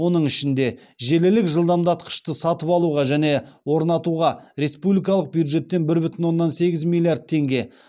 оның ішінде желілік жылдамдатқышты сатып алуға және орнатуға республикалық бюджеттен бір бүтін оннан сегіз миллиард теңге